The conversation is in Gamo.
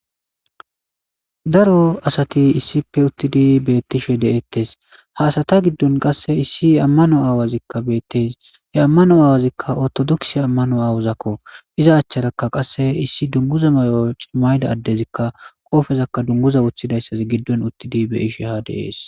Daro asati issipe utidi beetishe de'etes.ha asata giddon qassi issi amanuwa awatika beetes.he amanauwa awatika orthodokisiya amanuwa awatako iza acharaka issi dunguza mayo mayida adezika dunguza wotida issotika beettrs.